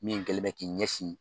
Min kɛlɛ bɛ k'i ɲɛsin.